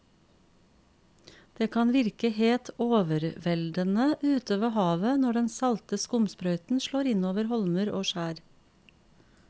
Det kan virke helt overveldende ute ved havet når den salte skumsprøyten slår innover holmer og skjær.